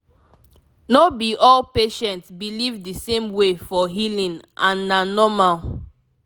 no be all patient believe the same way for healing and na normal